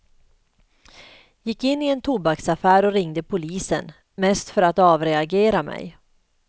Gick in i en tobaksaffär och ringde polisen, mest för att avreagera mig.